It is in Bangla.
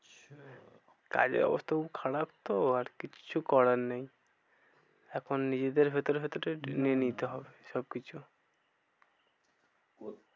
কাজের অবস্থা খুব খারাপ তো আর কিচ্ছু করার নেই। এখন নিজেদের ভেতরে ভেতরে নিতে হবে সব কিছু